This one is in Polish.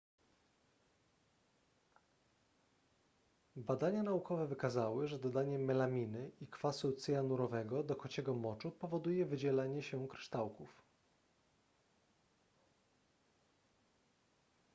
badania naukowe wykazały że dodanie melaminy i kwasu cyjanurowego do kociego moczu powoduje wydzielenie się kryształków